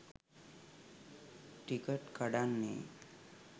Ticket කඩන්නෙ?